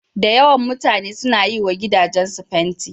Da yawan mutane suna yi wa gidajensu fanti.